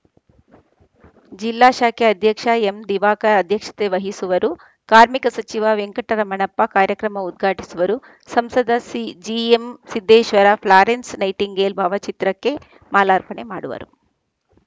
ಜಿಲ್ಲಾ ಶಾಖೆ ಅಧ್ಯಕ್ಷ ಎಂದಿವಾಕರ್‌ ಅಧ್ಯಕ್ಷತೆ ವಹಿಸುವರು ಕಾರ್ಮಿಕ ಸಚಿವ ವೆಂಕಟರಮಣಪ್ಪ ಕಾರ್ಯಕ್ರಮ ಉದ್ಘಾಟಿಸುವರು ಸಂಸದ C GM Siddeshwara Florence Nightingale ಭಾವಚಿತ್ರಕ್ಕೆ ಮಾಲಾರ್ಪಣೆ ಮಾಡುವರು